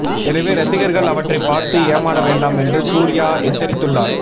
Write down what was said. எனவே ரசிகர்கள் அவற்றைப் பார்த்து ஏமாற வேண்டாம் என்று சூர்யா எச்சரித்துள்ளார்